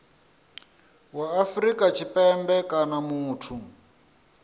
wa afrika tshipembe kana muthu